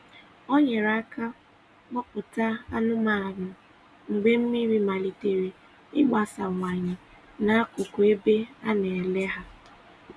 Ọ nyere aka kpụ̀pụta anụ́manụ mgbe mmiri maliterè ịgbasawanye n’akụkụ ebe a na-ele ha.